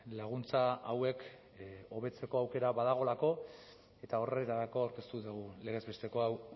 laguntza hauek hobetzeko aukera badagoelako eta horretarako aurkeztu dugu legez besteko hau